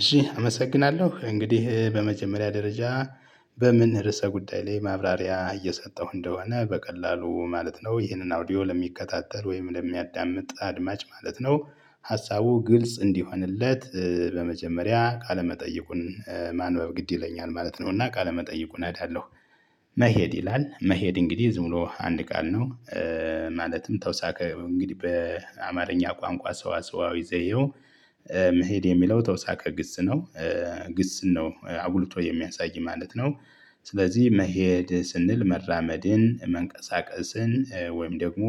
እሺ አመሰግናለሁ እንግዲህ በመጀመሪያ ደረጃ በምን ርዕሰ ጉዳይ ላይ ማብራሪያ እየሰጠሁ እንደሆነ በቀላሉ ማለት ነው። ይህንን አውዲዮ ለሚከታተል ወይም ለሚያዳምጥ አድማጭ ማለት ነው። ሀሳቡ ግልጽ እንዲሆንለት በመጀመሪያ ቃለመጠይቁን ማንበብ ግድ ይለኛል ማለት ነው። እና ቃለ መጠይቁን አነባለሁ። መሄድ ይላል መሄድ እንግዲህ ዝም ብሎ አንድ ቃል ነው። ማለትም ተውሳክ እንግዲህ በአማርኛ ቋንቋ ሰው ስዋሰዋዊ ዘየው። መሄድ የሚለው ተውሳከ ግስ ነው። ግስ ነው አጉልቶ የሚያሳይ ማለት ነው። ስለዚህ መሄድ ስንል መራመድን መንቀሳቀስን ወይም ደግሞ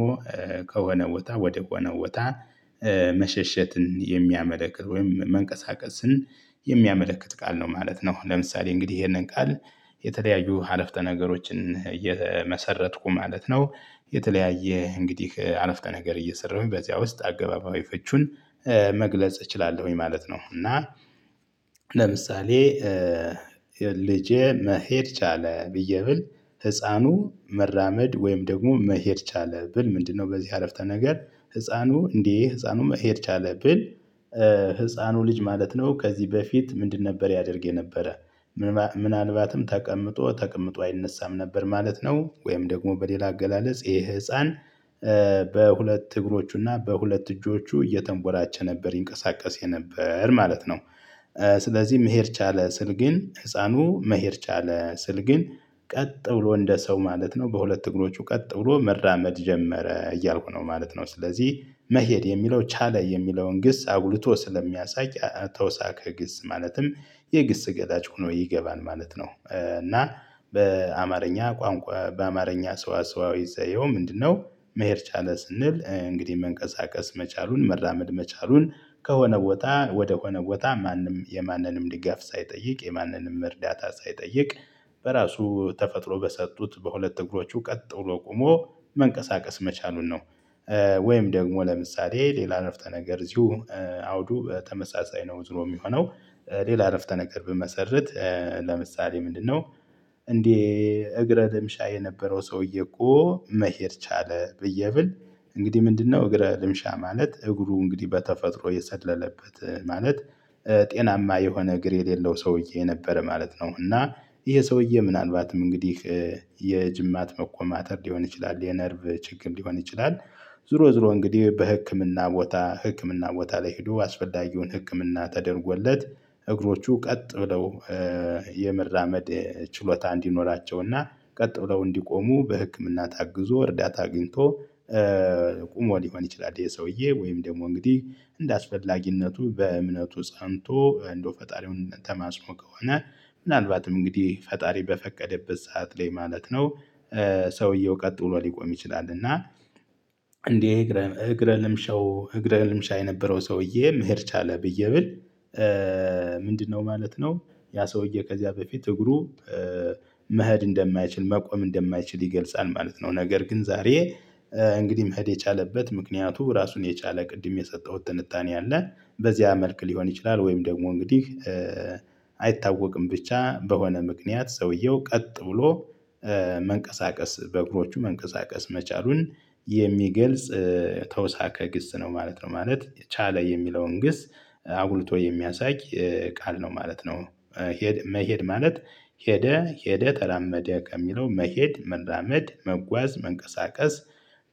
ከሆነ ቦታ ወደ ሆነ ቦታ መሸሸትን የሚያመለክት ወይም መንቀሳቀስን የሚያመለክት ቃል ነው ማለት ነው። ለምሳሌ እንግዲህ ይሄንን ቃል የተለያዩ አረፍተ ነገሮችን እየመሰረትኩ ማለት ነው። የተለያየ እንግዲህ አረፍተ ነገር እየሰራሁኝ በዚያ ውስጥ አገባባዊ ፈቹን መግለጽ እችላለሁኝ ማለት ነው። እና ለምሳሌ ልጄ መሄድ ቻለ ብዬ ብል። ህፃኑ መራመድ ወይም ደግሞ መሄድ ቻለ ብል ምንድነው? በዚህ አረፍተ ነገር ህፃኑ እንዴ ህፃኑ መሄድ ቻለ ብል። ህፃኑ ልጅ ማለት ነው ከዚህ በፊት ምንድን ነበር ያደርግ የነበረ ምናልባትም ተቀምጦ ተቀምጦ አይነሳም ነበር ማለት ነው። ወይም ደግሞ በሌላ አገላለጽ ይሄ ህፃን በሁለት እግሮቹና በሁለት እጆቹ እየተንቦላቸ ነበር ይንቀሳቀስ የነበር ማለት ነው። ስለዚህ መሄድ ቻለ ስል ግን ህፃኑ መሄድ ቻለ ስል ግን ቀጥ ብሎ እንደ ሰው ማለት ነው በሁለት እግሮች ቀጥ ብሎ መራመድ ጀመረ እያልኩ ነው ማለት ነው። ስለዚህ መሄድ የሚለው ቻለ የሚለውን ግስ አጉልቶ ስለሚያሳይ ተወሳክ ግስ ማለትም የግስ ገላጭ ሆኖ ይገባል ማለት ነው። እና በአማርኛ ቋንቋ በአማርኛ ሰው አስዋዊ ዘየው ምንድነው? መሄድ ቻለ ስንል እንግዲህ መንቀሳቀስ መቻሉን መራመድ መቻሉን ከሆነ ቦታ ወደ ሆነ ቦታ ማንም የማንንም ድጋፍ ሳይጠይቅ የማንንም እርዳታ ሳይጠይቅ በራሱ ተፈጥሮ በሰጡት በሁለት እግሮቹ ቀጥሎ ቆሞ መንቀሳቀስ መቻሉን ነው። ወይም ደግሞ ለምሳሌ ሌላ አፍተ ነገር እዚሁ አውዱ በተመሳሳይ ነው ዝሮ የሚሆነው። ሌላ አረፍተ ነገር ብመሰርት ለምሳሌ ምንድነው? እንዴ? እግረ ልምሻ የነበረው ሰውየ እኮ መሄድ ቻለ ብዬ ብል። እንግዲህ ምንድነው እግረ ልምሻ ማለት እግሩ እንግዲህ በተፈጥሮ የሰለለበት ማለት ጤናማ የሆነ እግር የሌለው ሰውዬ የነበረ ማለት ነው። እና ይሄ ሰውዬ ምናልባትም እንግዲህ የጅማት መቆማተር ሊሆን ይችላል የነርቭ ችግር ሊሆን ይችላል። ዝሮ ዝሮ እንግዲህ በህክምና ቦታ ህክምና ቦታ ላይ ሄዶ አስፈላጊውን ህክምና ተደርጎለት እግሮቹ ቀጥ ብለው የመራመድ ችሎታ እንዲኖራቸውና ቀጥ ብለው እንዲቆሙ በህክምና ታግዞ እርዳታ አግኝቶ። ቆሞ ሊሆን ይችላል የሰውዬ ወይም ደግሞ እንግዲህ እንደአስፈላጊነቱ በእምነቱ ጸንቶ እንደው ፈጣሪውን ተማጽኖ ከሆነ ምናልባትም እንግዲህ ፈጣሪ በፈቀደበት ሰዓት ላይ ማለት ነው። ሰውየው ቀጥሎ ሊቆም ይችላል እና። እንዴ እግረ ልምሸው እግረ ልምሻ የነበረው ሰውዬ መሄድ ቻለ ብዬ ብል። ምንድነው ማለት ነው። ያ ሰውዬ ከዚያ በፊት እግሩ መኸድ እንደማይችል መቆም እንደማይችል ይገልጻል ማለት ነው። ነገር ግን ዛሬ እንግዲህ መህድ የቻለበት ምክንያቱ ራሱን የቻለ ቅድም የሰጠሁት ትንታኔ አለ። በዚህ መልክ ሊሆን ይችላል። ወይም ደግሞ እንግዲህ አይታወቅም ብቻ በሆነ ምክንያት ሰውየው ቀጥ ብሎ መንቀሳቀስ በእግሮቹ መንቀሳቀስ መቻሉን የሚገልጽ ተውሳከ ግስ ነው ማለት ነው። ማለት ቻለ የሚለውን ግስ አጉልቶ የሚያሳይ ቃል ነው ማለት ነው። መሄድ ማለት ሄደ ሄደ ተላመደ ከሚለው መሄድ መራመድ መጓዝ መንቀሳቀስ።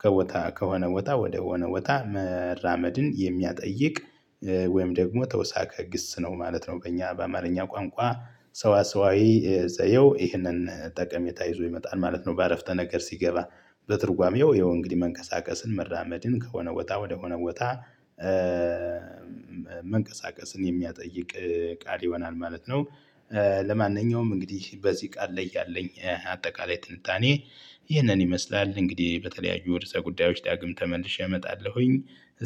ከቦታ ከሆነ ቦታ ወደሆነ ቦታ መራመድን የሚያጠይቅ ወይም ደግሞ ተውሳከ እግስ ነው ማለት ነው በእኛ በአማርኛ ቋንቋ ሰዋሰዋዊ ዘየው ይህንን ጠቀሜታ ይዞ ይመጣል ማለት ነው። በአረፍተ ነገር ሲገባ በትርጓሜው ይሄው እንግዲህ መንቀሳቀስን መራመድን ከሆነ ወጣ ወደሆነ ወጣ። መንቀሳቀስን የሚያጠይቅ ቃል ይሆናል ማለት ነው። ለማንኛውም እንግዲህ በዚህ ቃል ላይ ያለኝ አጠቃላይ ትንታኔ። ይህንን ይመስላል እንግዲህ በተለያዩ ወደ ጉዳዮች ዳግም ተመልሼ እመጣለሁኝ።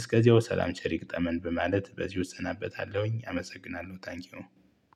እስከዚያው ሰላም ቸር ይግጠመን በማለት በዚሁ እሰናበታለሁኝ አመሰግናለሁ ታንኪው።